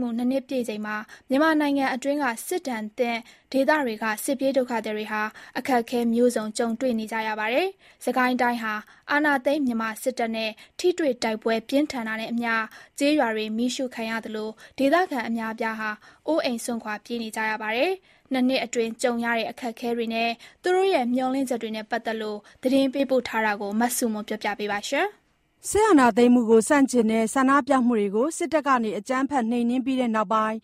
မှု ၂ နှစ် ပြည့်ချိန်မှာ မြန်မာနိုင်ငံအတွင်းက စစ်ဒဏ်သင့်ဒေသတွေက စစ်ပြေးဒုက္ခသည်တွေဟာ အခက်အခဲ မျိုးစုံကြုံတွေ့နေကြရပါတယ်။ စစ်ကိုင်းတိုင်းဟာ အာဏာသိမ်း မြန်မာစစ်တပ်နဲ့ ထိတွေတိုက်ပွဲ ပြင်းထန်တာနဲ့အမျှ၊ ကျေးရွာတွေ မီးရှို့ခံရသလို ဒေသခံအများအပြားဟာ အိုးအိမ်စွန့်ခွာပြေးနေကြရတာပါ။ နှစ်နှစ်အတွင်းကြုံရတဲ့ အခက်အခဲတွေနဲ့ သူတို့ရဲ့ မျှော်လင့်ချက်တွေနဲ့ ပတ်သက်လို့ သတင်းပေးပို့ထားတာကို မဆုမွန်က တင်ပြပေးပါမယ်။ စစ်အာဏာသိမ်းမှုကိုဆန့်ကျင်တဲ့ ဆန္ဒပြမှုတွေကို စစ်တပ်ကအကြမ်းဖက်နှိမ်နင်းပြီးနောက်ပိုင်း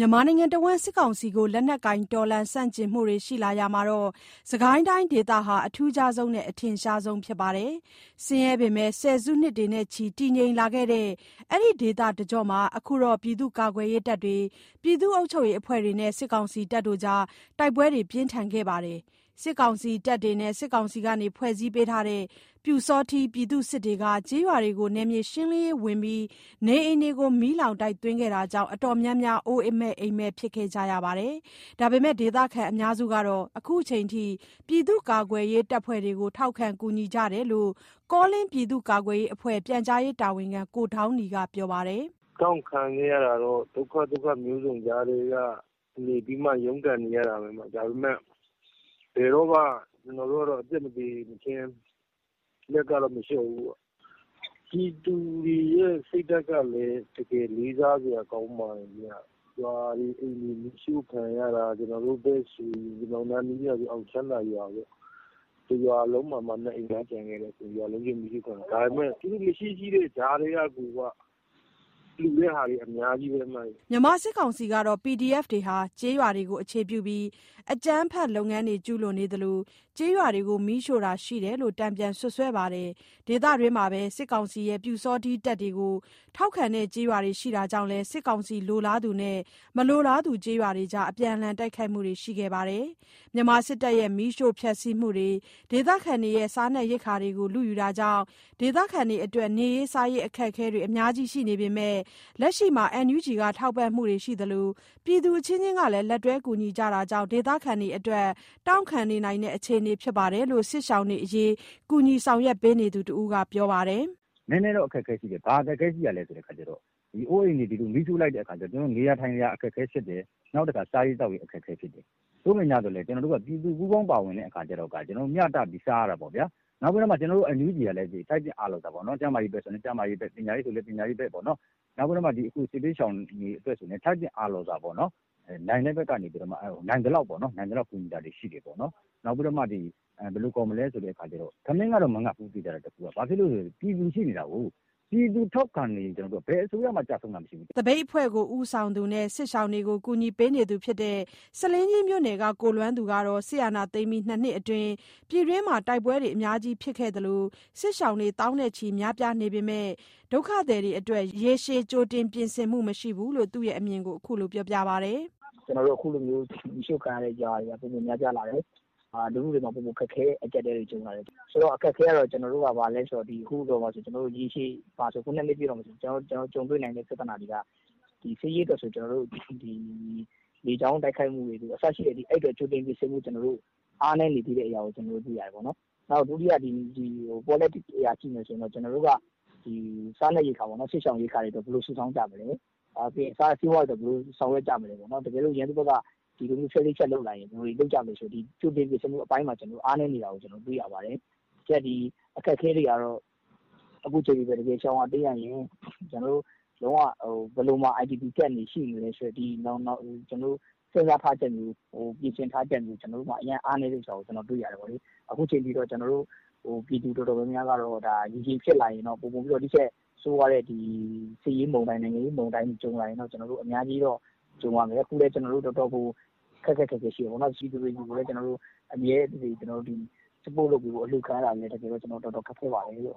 ၊ မြန်မာနိုင်ငံတဝှမ်း စစ်ကောင်စီကို လက်နက်ကိုင်တော်လှန်ဆန့်ကျင်မှုတွေရှိလာရာမှာ စစ်ကိုင်းတိုင်းဒေသဟာ အထူးခြားဆုံးနဲ့ အထင်ရှားဆုံးဖြစ်ပါတယ်။ ဆင်းရဲပေမယ့် ဆယ်စုနှစ်တွေနဲ့ချီ တည်ငြိမ်လာခဲ့တဲ့ အဲဒီဒေသတကျောမှာ အခုတော့ ပြည်သူ့ကာကွယ်ရေးတပ်တွေ၊ ပြည်သူ့အုပ်ချုပ်ရေးအဖွဲ့တွေနဲ့ စစ်ကောင်စီတပ်တွေအကြား တိုက်ပွဲတွေပြင်းထန်ခဲ့ပါတယ်။ စစ်ကောင်စီတပ်တွေနဲ့ စစ်ကောင်စီကဖွဲ့စည်းပေးတဲ့ ပျူစောထီး ပြည်သူ့စစ်တွေက ကျေးရွာတွေကို နယ်မြေရှင်းလင်းရေးဝင်ပြီး၊ နေအိမ်တွေ မီးလောင်တိုက်သွင်းခဲ့တာကြောင့် အတော်များများက အိုးအိမ်မဲ့ဖြစ်ကြရပါတယ်။ ဒါပေမယ့် ဒေသခံအများစုဟာ အခုအချိန်ထိ ပြည့်သူ့ကာကွယ်ရေးတပ်ဖွဲ့တွေကို ထောက်ခံကူညီကြတယ်လို့ ကောလင်းပြည်သူ့ကာကွယ်ရေးအဖွဲ့ ပြန်ကြားရေးတာဝန်ခံ ကိုဒေါင်းနီက ပြောပါတယ်။ "တောင့်ခံခဲ့ရတာကတော့ ဒုက္ခ သုခ မျိုးစုံ ကြားထဲကနေပြီးမှ ရုန်းကန်နေရတာပဲ။ ဒါပေမယ့် ဘယ်တော့မှ ကျွန်တော်တို့ကတော့ အသက်မသေမချင်း လက်ကတော့ မလျှော့ဘူးပေါ့။ ပြည်သူတွေရဲ့ စိတ်ဓာတ်ကလည်း တကယ် လေးစားစရာ ကောင်းပါတယ်ဗျ။ ရွာတွေ၊ အိမ်တွေ မီးရှို့ခံရတာ ကျွန်တော်တို့ဖက်တွေဆိုရင် ကျွန်တော်တို့ အောင်ချမ်းသာရွာပေါ့ တစ်ရွာလုံးမှာမှ နှစ်အိမ်ပဲ ကျန်ခဲ့တာ။ ဒါပေမယ့် မရှိ ရှိတဲ့ ကြားထဲက (PDF/စစ်ရှောင်တွေကို)လှူတာတွေ အများကြီးပဲ။" မြန်မာစစ်ကောင်စီကတော့ PDF တွေဟာ ကျေးရွာတွေကို အခြေပြုပြီး အကြမ်းဖက်လုပ်ငန်းတွေကျူးလွန်နေသလို၊ ကျေးရွာတွေကို မီးရှို့တာရှိတယ်လို့ တန်ပြန်စွပ်စွဲပါတယ်။ ဒေသတွင်းမှာပဲ စစ်ကောင်စီရဲ့ ပျူစောထီးတပ်တွေကို ထောက်ခံတဲ့ကျေးရွာတွေရှိတာကြောင့်လည်း၊ စစ်ကောင်စီလိုလားသူနဲ့ မလိုလားသူ ကျေးရွာတွေအကြား အပြန်အလှန်တိုက်ခိုက်မှုတွေလည်း ရှိခဲ့ပါတယ်။ မြန်မာစစ်တပ်ရဲ့ မီးရှို့ဖျက်ဆီးမှုတွေ၊ ဒေသခံတွေရဲ့ စားနပ်ရိက္ခာတွေကို လုယူတာတွေကြောင့် ဒေသခံတွေအတွက် နေရေး စားရေး အခက်အခဲတွေ အများကြီးရှိနေပေမယ့်၊ လက်ရှိမှာ NUG က ထောက်ပံ့မှု တချို့ရှိသလို ပြည်သူအချင်းချင်းကလည်း လက်တွဲ ကူညီကြတာကြောင့် ဒေသခံတွေအတွက် တောင့်ခံနိုင်နေတဲ့ အခြေအနေဖြစ်တယ်လို့ စစ်ရှောင်တွေအရေး ကူညီဆောင်ရွက်ပေးနေသူတစ်ဦးက ပြောပြပါတယ်။ "နည်းနည်းတော့ အခက်အခဲ ရှိတယ်၊ ဘာအခက်အခဲရှိသလဲဆိုတော့ နေစရာ ထိုင်စရာ အခက်အခဲဖြစ်တယ်၊ နောက်ပြီးတော့ စားရေး သောက်ရေး အခက်အခဲ ဖြစ်တယ်။ သို့ပေမယ့် ကျွန်တော်တို့မှာက ပြည်သူတွေက ပူးပေါင်းပါဝင်တဲ့အခါကျတော့ မျှတပြီးတော့ စားရတာပေါ့ဗျာ။ နောက်ပြီးတော့ ကျွန်တော်တို့ NUG ကလည်း ထိုက်သင့်အားလျော်စွာ ကျန်းမာရေးဆိုလည်းကျန်းမာရေးအတွက် ပညာရေးအတွက်ဆိုလည်း ပညာရေးအတွက် နောက်ပြီးတော့မှ စစ်ဘေးရှောင်တွေအတွက်ဆိုပြိးတော့လည်း ထိုက်သင့်အားလျော်စွာ နိုင်တဲ့ ဖက်ကနေပြီးတော့မှ နိုင်သလောက် ထိုက်သင့်အားလျော်စွာ ကူညီတာတွေ ရှိတယ်ပေါ့နော်။ နောက်ပြီးတော့ သေချာတာတခုကတော့ ထမင်းမငတ်ဘူးဗျ။ ဘာလို့လဲ ဆိုတော့ ပြည်သူရှိနေတာကိုး။ ပြည်သူထောက်ခံနေရင် ဘယ်အစိုးရမှ ကျဆုံးတာ မရှိဘူးဗျ။" သပိတ်အဖွဲ့ ဦးဆောင်သူနဲ့ စစ်ရှောင်တွေကို ကူညီပေးနေသူဖြစ်တဲ့ ဆားလင်းကြီးမြို့နယ်က ကိုလွမ်းသူကတော့ စစ်အာဏာသိမ်းပြီး ၂ နှစ်အတွင်း ပြည်တွင်းမှာ တိုက်ပွဲအများကြီးဖြစ်ခဲ့သလို စစ်ရှောင်တွေ သောင်းနဲ့ချီများပြားနေပေမယ့်၊ ဒုက္ခသည်တွေအတွက် ရေရှည် ကြိုတင်ပြင်ဆင်မှုမရှိဘူးလို့ သူ့ရဲ့အမြင်ကို ပြောပါတယ်။ "ကျွန်တော်တို့ ခုလို မီးရှို့ခံရတဲ့ ရွာတွေက ပိုမိုများပြားလာတယ်။ လူထုထဲမှာလည်း ပိုမို ခက်ခဲတဲ့ အကြပ်အတည်းတွေ ကြုံလာတယ်။ ဆိုတော့ အခက်အခဲက ကျွန်တော်တို့ အတွက် ဘာလဲ ဆိုတော့ ရေရှည်မှာ ခုက ၂ နှစ်ပြည့်တော့မယ်ဆိုတော့ ကျွန်တော်တို့ ကြုံတွေ့နိုင်တဲ့ ပြသနာတွေက စစ်ရေးအတွက်ဆို ကျွန်တော်တို့ ဒီလေကြောင်းတိုက်ခိုက်မှုတွေပေါ့၊ အဲ့ဒါတွေအတွက် ကျွန်တော်တို့မှာ ကြိုတင်ပြင်ဆင်မှုတွေ အားနည်းနေသေးတာကို ကျွန်တော်တို့ တွေ့ရတယ်ပေါ့နော်။ နောက်တစ်ခုက ဒီ polatic အရ ကြည့်မယ်ဆိုရင် စားနပ်ရိက္ခာပေါနော်၊ စစ်ရှောင်တွေအတွက် ရိက္ခာ ဘယ်လိုစုဆောင်းကြမလဲ။ ပြီးတော့ ဆေးဝါးတွေအတွက် ဘယ်လိုဆောင်ရွက်ကြမလဲပေါ့။ နောက် ရန်သူဖက်က ဖြတ်လေးဖြတ် စနစ်တွေ လုပ်လာရင် ဘယ်လို လုပ်ကြမလဲပေါ့ အဲ့ဒါတွေအတွက် ကြိုတင်ပြင်ဆင်မှု အပိုင်းမှာ အားနည်းနေတာတွေ ကျွန်တော်တို တွေ့ရပါတယ်။ နောက်အခက်အခဲတွေကတော့ ကျွန်တော်တို့ ရှောင်ရတိမ်းရရင် ဘယ်မှာ IDP Camp တွေရှိမလဲ ဆိုတာတွေပေါ့၊ အဲ့ဒါမျိုးတွေ စဉ်းစားထားချက်မျိုး ပြင်ဆင်ထားချက်မျိုး ကျွန်တော်တို့မှာ အရမ်းအားနည်းနေတာကို ကျွန်တော်တို့ တွေ့ရတယ်ပေါ့လေ။ အခုအချိန်ထိကတော့ ကျွန်တော်တို့ ပြည်သူအများစုကတော ဒါရေရှည်ဖြစ်လာရင်တော့ ဒါ ပိုမိုပြီးတော့ ဒီထက် ဆိုးဝါးတဲ့ ဒီစစ်ရေးမုန်တိုင်း နိုင်ငံရေး မုန်တိုင်းတွေ ကြုံလာရင်တော့ ကျွန်တော်တို့ အများကြီးတော ကြုံရမယ်၊ ကျွန်တော်တို့ခုလည်း တော်တော်ကို ခက်ခက်ခဲခဲရှိတယ်ပေါ့နော်။ ပြည်သူတွေဆီကိုလည်း ကျွန်တော်တို့ အမြဲတစေ Support လုပ်ပေးဖို့ အလှုခံရတာတွေကလည်း တော်တော်ခက်ခဲ ပါတယ်။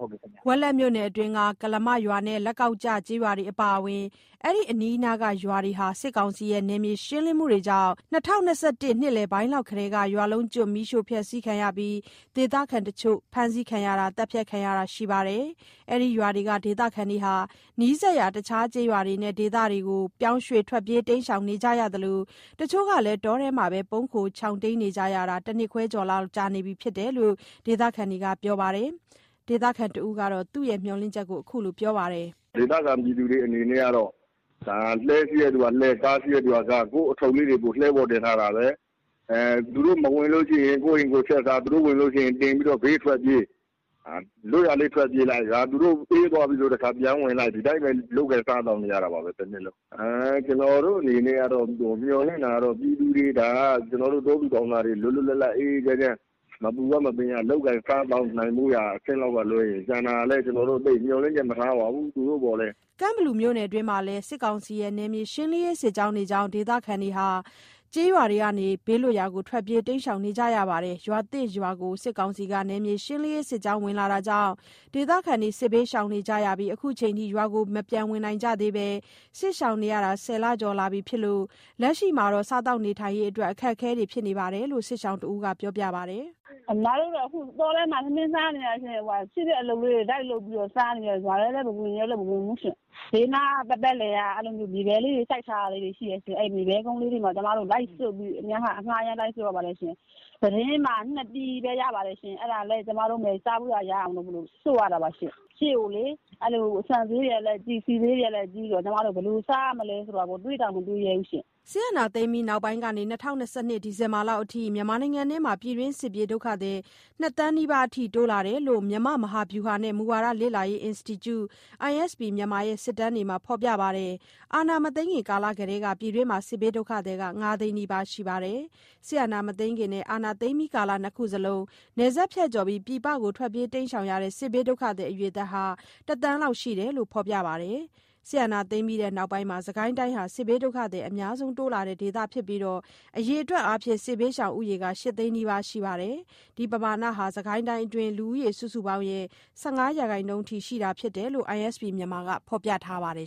" ဝက်လက်မြို့နယ်အတွင်းက ကုလားမရွာနဲ့ လက်ကောက်ကျ ကျေးရွာတွေအပါအဝင် အဲ့ဒီအနီးအနားက ရွာတွေဟာ စစ်ကောင်စီရဲ့ နယ်မြေရှင်းလင်းရေးတွေကြောင့် ၂၀၂၁ နှစ်လယ်ပိုင်းလောက်ကတည်းက ရွာလုံးကျွတ်မီးရှို့ဖျက်ဆီးခံရပြီး၊ ဒေသခံတချို့ ဖမ်းဆီးခံရတာ သတ်ဖြတ်ခံရတာတွေရှိပါတယ်။ အဲ့ဒီရွာတွေက ဒေသခံတွေဟာ နီးစပ်ရာတခြားကျေးရွာတွေနဲ့ ဒေသတွေကို ပြောင်းရွေ့ထွက်ပြေးနေကြရသလို တချို့ကလည်း တောထဲမှာပဲ ပုန်းခိုရှောင်တိမ်းနေကြရတာဟာ တစ်နှစ်ခွဲကျော်လောက် ကြာနေပြီး ဖြစ်တယ်လို့ ဒေသခံတွေက ပြောပါတယ်။ ဒေသခံတစ်ဦးက သူ့ရဲ့ မျှော်လင့်ချက်ကို ခုလိုပြောပါတယ်။ "ဒေသခံတွေကတော့ လှည်းရှိတဲ့သူကလှည်း၊ ကားရှိတဲ့သူက ကားပေါ့ ကိုယ့်ပစ္စည်းလေးတွေကို အဲ့ပေါ်တင်ထား သူတို့မလာရင် ကိုယ့်ဟာကိုယ် ချက်ပြုတ်စား၊ သူတို့လာရင် ဘေးကိုထွက်ပြေး။ သူတို့ဝင်လာရင် လွတ်ရာလေး ထွက်ပြေးလိုက် သူတို့ အေးသွားပြီဆိုတခါ ပြန်ဝင်လိုက် ဒီလိုပဲ လုပ်ကိုင်စားသောက်နေကြရတာပဲ တစ်နှစ်လုံး။ ကျွန်တော်တို့ အနေနဲ့ကတော့ မျှော်လင့်တာကတော့ ပြည်သူတွေ ကျွန်တော်တို့ တောသူတောင်သားတွေ လွတ်လွတ်လပ်လပ် အေးအေးချမ်းချမ်း မပူရ မပင်ရ လုပ်ကိုင်စားသောက်နေဖို့ရာ အဆင့်လောက် ကလွဲရင် ကျန်တာကိုလည်းကျွန်တော်တို့ သိပ်မျှော်လင့်ချက်မထားပါဘူး။" ကန့်ဘလူမြို့နယ် အတွင်းမှာလည်း စစ်ကောင်စီရဲ့ နယ်မြေရှင်းလင်းရေး စစ်ကြောင်းတွေကြောင့် ကျေးရွာတွေက ဒေသခံ သောင်းဂဏန်းလောက်ဟာ ဘေးလွတ်ရာကို ထွက်ပြေးနေကြရတာပါ။ ရွာသစ်ရွာကို စစ်ကောင်စီက နယ်မြေရှင်းလင်းရေး စစ်ကြောင်း ဝင်ရောက်ခဲ့တာကြောင့် ဒေသခံတွေ စစ်ဘေးရှောင်နေကြရပြီး ခုအချိန်ထိ ရွာကို ပြန်မဝင်နိုင်ကြသေးဘဲ စစ်ရှောင်နေရတာ ၁၀ လ ကျော်လာပြီ ဖြစ်ပြီး လက်ရှိမှာ စားသောက်ရေးအတွက် အခက်အခဲ ဖြစ်နေတဲ့အကြောင်းကို စစ်ရှောင်တစ်ဦးက ခုလိုပြောပါတယ်။ "ကျွန်မတို့ခု တောထဲမှာ ထမင်းစားနေကြတာ။ ရှိတဲ့ အလုပ်လေးတွေ လိုက်လုပ်ပြီးတော့ စားသောက်နေရတာ၊ ရွာထဲကိုလည်း မဝင်ရဲလို့ မဝင်ဘူးရှင့်။ ဘေးပတ်ပတ်လည်မှာ မြေပဲစိုက်ထားတဲ့ ကုန်းလေးတွေရှိတယ်။ အဲ့မှာ အငှားလိုက်ဆွတ်ပြီးတော့ အဲ့မှာ ၁ တင်းမှ ၂ ပြည်ပဲ ရပါတယ်။ အဲ့ဒါလည်း ကျွန်မတို့မှာ စားဖို့ရာ ရအောင်လို့ ဆွတ်ရတာပါ။ ရှေ့လျောက် ဆန်ဈေးတွေကလည်း ကြီး၊ ဆီးဈေးတွေကလည်းကြိးဆိုတော့ ဘယ်လိုစားရမလဲဆိုတာ တွေးတောင် မတွေးရဲတော့ပါဘူးရှင့်။" စစ်အာဏာသိမ်းပြီးနောက်ပိုင်းကနေ ၂၀၂၂ ဒီဇင်ဘာလအထိ မြန်မာနိုင်ငံအတွင်းမှာ ပြည်တွင်း စစ်ပြေး ဒုက္ခသည် ၂ သန်း နီးပါးအထိ တိုးလာတယ်လို့ မြန်မာ့မဟာဗျူဟာနဲ့ မူဝါဒလေ့လာရေး အင်စတီကျု (ISP Myanmar) ရဲ့ စစ်တမ်းတွေမှာ ဖော်ပြထားပါတယ်။ အာဏာမသိမ်းမီ ကာလကတည်းက ပြည်တွင်းမှာ စစ်ဘေးဒုက္ခသည်က ၅ သိန်းနီးပါး ရှိနေခဲ့ပြီး စစ်အာဏာမသိမ်းခင်နဲ့ အာဏာသိမ်းပြီး ကာလ ၂ ခုလုံးမှာ နယ်စပ်ဖြတ်ကျော်ပြီး ပြည်ပကို ထွက်ပြေးတိမ်းရှောင်ကြတဲ့ စစ်ဘေးဒုက္ခသည်အရေအတွက်က ၁ သန်းလောက် ရှိတယ်လို့ ဖော်ပြပါတယ်။ စစ်အာဏာသိမ်းပြီးနောက်ပိုင်းမှာ စစ်ကိုင်းတိုင်းဟာ စစ်ဘေးဒုက္ခသည် အများဆုံး တိုးလာတဲ့ ဒေသဖြစ်ပြီးတော့ အရေအတွက်အားဖြင့် စစ်ဘေးရှောင် ဦးရေက ၈ သိန်းနီးပါး ရှိခဲ့ပါတယ်။ဒီပမာဏဟာ စစ်ကိုင်းတိုင်းအတွင်းက လူဦးရေ စုစုပေါင်းရဲ့ ၁၅ ရာခိုင်နှုန်း အထိ ရှိတာဖြစ်တယ်လို့ ISP Myanmar က ဖော်ပြထားပါတယ်